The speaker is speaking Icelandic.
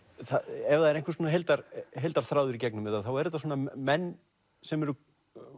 ef það er einhvers konar heildarþráður í gegnum þetta þá eru þetta svona menn sem eru